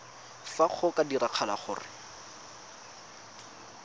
fa go ka diragala gore